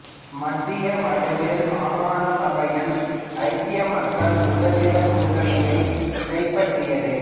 மத்திய வடமேல் மாகாண சபைகளை ஐக்கிய மக்கள் சுதந்திரக் கூட்டணி கைப்பற்றியது